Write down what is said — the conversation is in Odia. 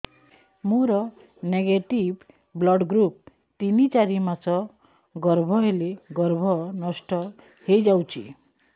ମୋର ନେଗେଟିଭ ବ୍ଲଡ଼ ଗ୍ରୁପ ତିନ ଚାରି ମାସ ଗର୍ଭ ହେଲେ ଗର୍ଭ ନଷ୍ଟ ହେଇଯାଉଛି